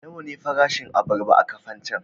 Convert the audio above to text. Nawa ne farashin abarba a Kafancan?